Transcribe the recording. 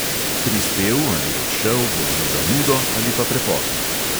Prispel ali odšel bo z zamudo ali pa prepozno.